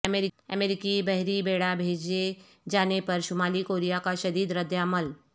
امریکی بحری بیڑا بھیجے جانے پر شمالی کوریا کا شدید ردعمل